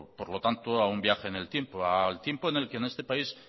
por lo tanto a un viaje en el tiempo al tiempo en el que en este país